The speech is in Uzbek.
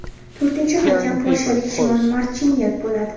To‘rtinchi hakam – polshalik Shimon Marchinyak bo‘ladi.